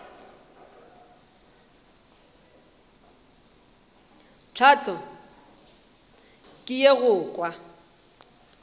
tlhahlo ke ye go kwa